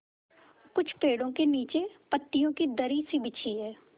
कुछ पेड़ो के नीचे पतियो की दरी सी बिछी है